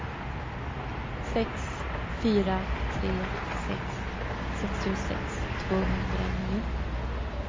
sex fyra tre sex sextiosex tvåhundranio